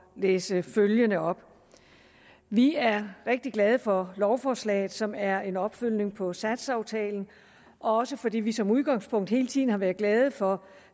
læse følgende op vi er rigtig glade for lovforslaget som er en opfølgning på satsaftalen og også fordi vi som udgangspunkt hele tiden har været glade for